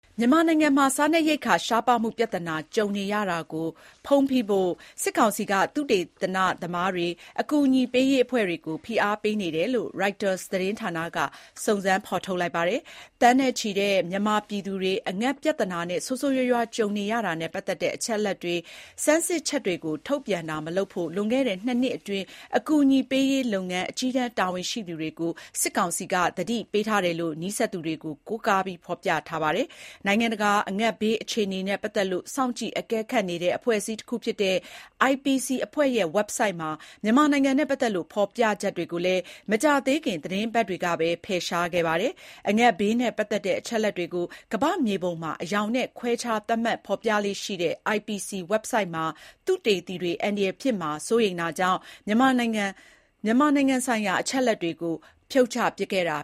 မြန်မာနိုင်ငံမှာ စားနပ်ရိက္ခာရှားပါးမှုပြဿနာကြုံနေရတာကိုဖုံးဖိဖို့ စစ်ကောင်စီက သုတေသန သမားတွေ၊ အကူအညီပေးရေးအဖွဲ့တွေကို ဖိအားပေးနေတယ်လို့ Reuters သတင်းဌာနက စုံစမ်း ဖော်ထုတ်လိုက်ပါတယ်။ သန်းနဲ့ချီတဲ့မြန်မာပြည်သူတွေ အငတ်ပြဿနာနဲ့ ဆိုးဆိုးရွားရွားကြုံနေရတာနဲ့ပတ်သက်တဲ့ အချက်အလက်တွေ၊ ဆန်းစစ်ချက်တွေကို ထုတ်ပြန်တာမလုပ်ဖို့ လွန်ခဲ့တဲ့ ၂ နှစ်အတွင်း အကူအညီပေးရေးလုပ်ငန်း အကြီးတန်းတာဝန်ရှိသူတွေကို စစ်ကောင်စီက သတိပေးထားတယ် လို့လည်း နီးစပ်သူတွေကို ကိုးကားပြီး ဖော်ပြထားတာပါ။ နိုင်ငံတကာက အငတ်ဘေးအခြေအနေနဲ့ ပတ်သက်လို့ စောင့်ကြည့်အကဲခတ်နေတဲ့ အဖွဲ့အစည်းတခုဖြစ်တဲ့ IPC အဖွဲ့ရဲ့ ဝဘ်ဆိုဒ်မှာ မြန်မာနိုင်ငံနဲ့ ပတ်သက်လို့ ဖော်ပြချက်တွေကိုလည်း မကြာသေးခင် သီတင်းပတ်တွေကပဲ ဖယ်ရှားခဲ့ပါတယ် အငတ်ဘေးနဲ့ ပတ်သက်တဲ့ အချက်အလက်တွေကို ကမ္ဘာ့မြေပုံမှာ အရောင်နဲ့ ခွဲခြားသတ်မှတ် ဖော်ပြလေ့ရှိတဲ့ IPC ဝဘ်ဆိုဒ်မှာ သုတေသီတွေ အန္တရာယ်ဖြစ်မှာ စိုးရိမ်တာကြောင့် မြန်မာနိုင်ငံဆိုင်ရာ အချက်အလက်တွေကို ဖြုတ်ပစ်ခဲ့တာ